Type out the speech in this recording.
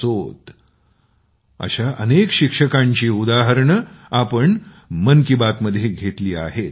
असोत अशा अनेक शिक्षकांची उदाहरणे आम्ही मन की बातमध्ये घेतली आहेत